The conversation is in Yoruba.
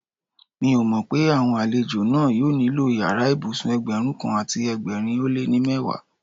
Mi ò mọ pé àwọn àlejò náà yóò nílò yàrá ìbùsùn Ẹgbẹ̀rún kan àti ẹgbẹ̀rin ó lé ní mẹ́wàá.